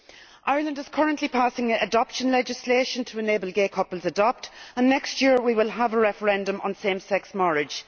Ireland is currently passing adoption legislation to enable gay couples to adopt, and next year we will have a referendum on same sex marriage.